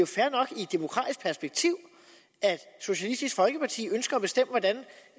demokratisk perspektiv at socialistisk folkeparti ønsker at bestemme hvordan